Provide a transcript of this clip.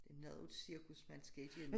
Noget af et cirkus man skal igennem